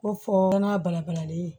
Ko fɔ n'a balabalalen ye